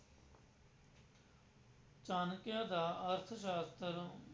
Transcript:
ਚਾਣਕਯ ਦਾ ਅਰਥਸ਼ਾਸਤਰ,